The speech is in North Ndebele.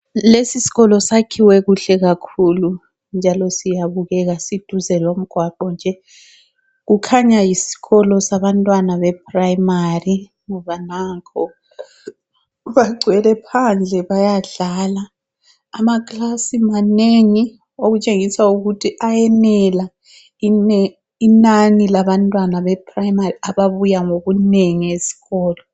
Lesi sikolo sakhiwe kuhle kakhulu njalo siyabukela siduze lomgwaqo nje. Kukhanya yisikolo sabantwana bePrimary ngoba nanko bagcwele phandle bayadlala. Amaklasi manengi okutshengisa ukuthi ayenela inani labantwana be Primary ababuya ngobunengi esikolo.